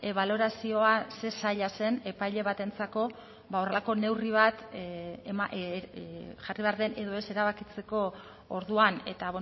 balorazioa ze zaila zen epaile batentzako horrelako neurri bat jarri behar den edo ez erabakitzeko orduan eta